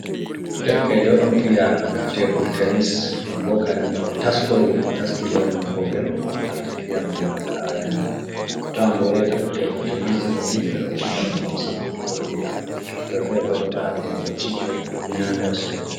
Derkejo odon fiya tebul tenis, non bo kadino o taskori no o taski lornal gogel mo arti fiyana mo daga arande hato on bo reta fu tebul tenis ɗoni ɓeɗo fija on ngam sankutuggo iyam, hoɓɓe ferebo ɗo ngaɗa kompotishon fu ɗon nyamira cede beman.